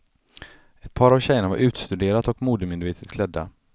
Ett par av tjejerna var utstuderat och modemedvetet klädda.